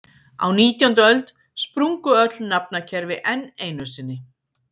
Á nítjándu öld sprungu öll nafnakerfi enn einu sinni.